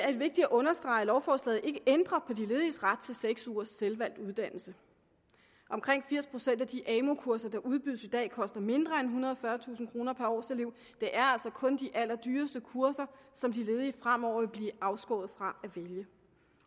er det vigtigt at understrege at lovforslaget ikke ændrer på de lediges ret til seks ugers selvvalgt uddannelse omkring firs procent af de amu kurser der udbydes i dag koster mindre end ethundrede og fyrretusind kroner per årselev det er altså kun de allerdyreste kurser som de ledige fremover vil blive afskåret fra at vælge